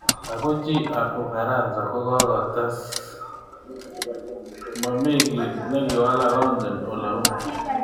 Ako chi ab Ufaransa kokotes: Mamikit nikiwalak, ongen oleu.